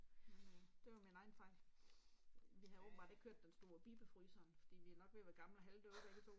Men øh det var min egen fejl. Vi havde åbenbart ikke hørt den stod og bippede fryseren, fordi vi er nok ved at være gamle og halvdøve begge 2